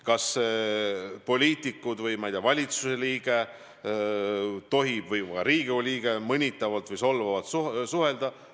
Kas poliitikud, kas, ma ei tea, valitsuse liikmed või ka Riigikogu liikmed tohivad mõnitavalt või solvavalt suhelda?